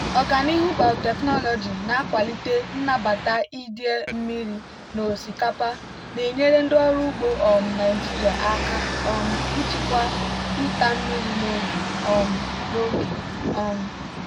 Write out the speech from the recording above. ọganihu biotechnology na-akwalite nnabata idei mmiri na osikapa na-enyere ndị ọrụ ugbo um naijiria aka um ịchịkwa ịta mmiri n'oge. um n'oge. um